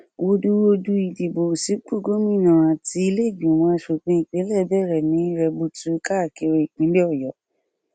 wooduwoodu idìbò sípò gómìnà àti ilé ìgbìmọ asòfin ìpínlẹ bẹrẹ ní rẹbutu káàkiri ìpínlẹ ọyọ